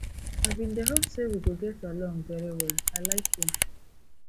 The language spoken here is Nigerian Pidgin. i bin dey hope say we go get along very well i like you